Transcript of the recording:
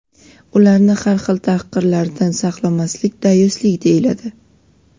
ularni har xil tahqirlardan saqlamaslik "dayuslik" deyiladi.